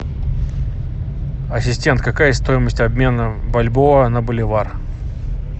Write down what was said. ассистент какая стоимость обмена бальбоа на боливар